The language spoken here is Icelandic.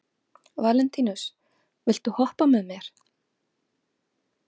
Valentínus, viltu hoppa með mér?